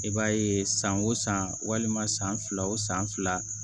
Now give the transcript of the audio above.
I b'a ye san o san walima san fila o san fila